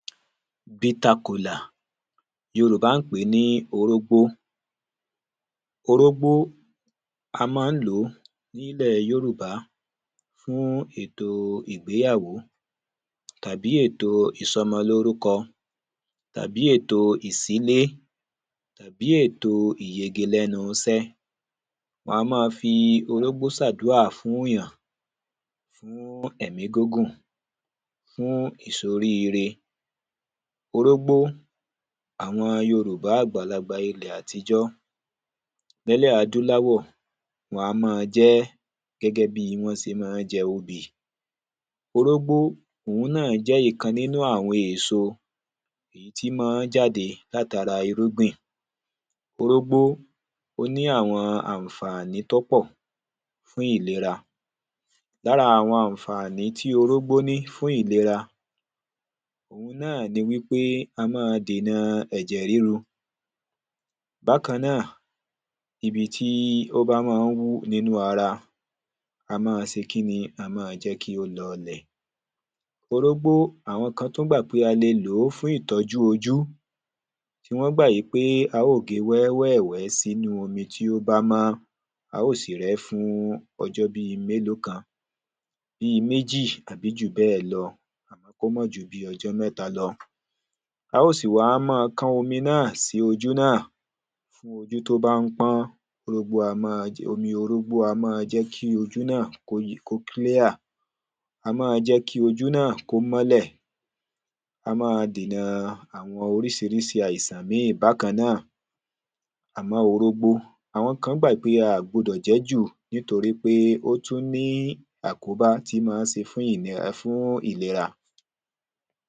bítá kolà. yorùbá ń pèé ní orógbó. orógbó, a ma ń lòó ní ilẹ̀ yórùbà fún èto ìgbéyàwó, tàbí èto ìsọmọ lórúkọ, tàbí èto ìsílé, tàbí èto ìyege lẹ́nú isẹ́. wán máa fí orógbó sàdúrà fún ìyàn, fún èmí gúngùn, fún ìsorí ire. orógbó, àwọn yorùbá àgbàlagbà ilẹ̀ àtijọ́, nẹ́lẹ̀ adúlawọ̀, wan mọ́ọ jẹ́ gẹ́gẹ́ bíi wọ́n se mọ ń jẹ obì. orógbó, òun náà jẹ́ ìkan nínú àwọn éso èyí tí mọọ́ jáde láti ara irúgbìn. orógbó, ó ní àwọn ànfàní tọ́ pọ̀ fún ìlera. lára àwọn ànfàní tí orógbó ní fún ìlera, òun náà ni wípé a máa dènà ẹ̀jẹ̀ ríru. bákan náà, ibi tíí ó bá mọọ́ wú nínú ara, a mọ́ọ se kíni, a mọ́ọ jẹ́ kí ó lọlẹ̀. orógbó, àwọn kán tún gbà pé a le lòó fún ìtọ́jú ojú, tí wọ́n gbà wípé a ó ge wẹ́wẹ̀wẹ́ sínú omi tí ó bá mọ́, a ó sì rẹ́ fún ọjọ́ bíi mélòó kan, bíi méjì àbí jù bẹ́ẹ̀ lọ, àmọ́ kó mọ ju bíi ọjọ́ mẹ́ta lọ, a ó sì wá mọ́ọ kán omi náà sí ojú náà fún ojú tó bá ń pọ́n, orógbó a máa, omi orógbó a máa jẹ́ kí ojú náà kó klíà, a mọ́ọ jẹ́ kí ojú náà kó mọ́lẹ̀, a máa dènà àwọn orísirísi àìsàn míì bákan náà. àmọ́ orógbó, àwọn kán gbà ípé a ò gbọdọ̀ jẹ́ jù nítorí pé ó tún ní àkóbá tí mọ ń se fún ìní, fún ìlera.